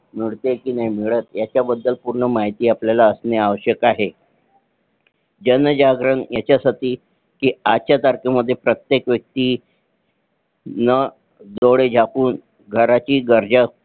मिळते कि नाही मिळत ह्याची पूर्ण माहिती आपल्याला असणे आवश्यक आहे जनजागरण ह्याचा साठी आजचा तारखे मध्ये प्रत्येक व्यक्ति डोळे झाकून घराची गरजा